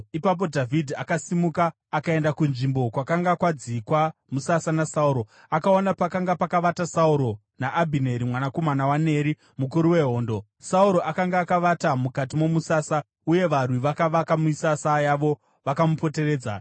Ipapo Dhavhidhi akasimuka akaenda kunzvimbo kwakanga kwadzikwa musasa naSauro. Akaona pakanga pakavata Sauro naAbhineri mwanakomana waNeri mukuru wehondo. Sauro akanga akavata mukati momusasa, uye varwi vakavaka misasa yavo vakamupoteredza.